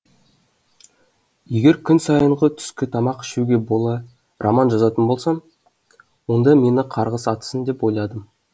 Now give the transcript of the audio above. егер күн сайынғы түскі тамақ ішуге бола роман жазатын болсам онда мені қарғыс атсын деп ойладым